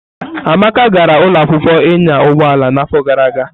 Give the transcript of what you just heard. Amaka gara ụlọ akwụkwọ ịnya ụgbọ ala n'afọ gara aga.